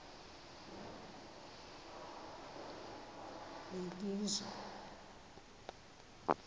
belizwe